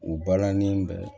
U balani bɛ